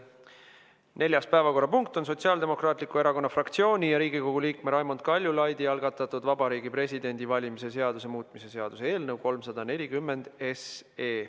Neljas päevakorrapunkt on Sotsiaaldemokraatliku Erakonna fraktsiooni ja Riigikogu liikme Raimond Kaljulaidi algatatud Vabariigi Presidendi valimise seaduse muutmise seaduse eelnõu 340.